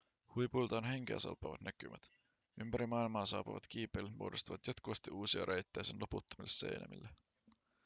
huipuilta on henkeäsalpaavat näkymät ympäri maailmaa saapuvat kiipeilijät muodostavat jatkuvasti uusia reittejä sen loputtomille seinämille